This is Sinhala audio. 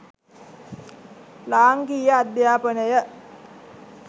ලාංකිය අධ්‍යාපනය